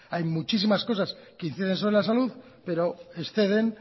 hay muchísimas cosas que inciden sobre la salud pero exceden